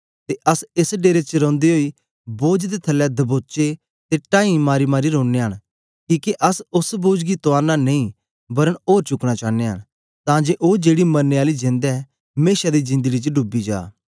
ते अस एस डेरे च रौंदे ओई बोझ दे थलै दबोचे दे टाई मारीमारी रोनयां न किके अस ओस बोझ गी तुआरना नेई वरन ओर चुकना चानयां न तां जे ओ जेड़ी मरने आली जेंद ऐ मेशा दी जिंदड़ी च डूबी जा